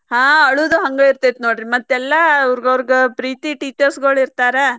ಹಾ ಅಳುದು ಹಂಗ ಇರ್ತೇತಿ ನೋಡ್ರಿ ಮತ್ತೆಲ್ಲಾ ಅವ್ರಗೌರ್ಗ್ ಪ್ರೀತಿ teachers ಗಳು ಇರ್ತಾರ.